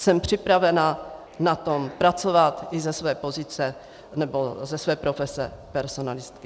Jsem připravena na tom pracovat i ze své pozice... nebo ze své profese personalistky.